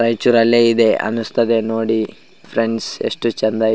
ರೈಚೂರ್ ಅಲ್ಲೇ ಇದೆ ಅನ್ನಿಸುತ್ತದೆ ನೋಡಿ ಫ್ರೆಂಡ್ಸ್ ಎಷ್ಟು ಚೆಂದ ಇದೆ.